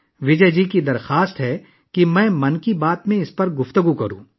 وجے جی درخواست کرتے ہیں کہ میں 'من کی بات' میں اس پر تبادلہ خیال کروں